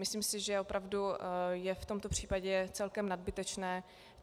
Myslím si, že opravdu je v tomto případě celkem nadbytečná.